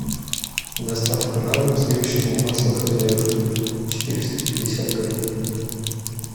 доставка на дом сливочного масло хозяюшка четыреста пятьдесят грамм